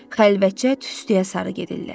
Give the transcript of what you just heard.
Xəlvəcə tüstüyə sarı gedirdilər.